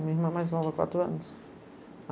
Minha irmã mais nova, quatro anos.